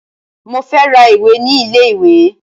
Mo fẹ́ ra ìwé ní ilé ìwé